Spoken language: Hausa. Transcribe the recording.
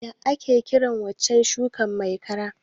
What is that stem crop called?